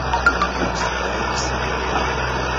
поставь змея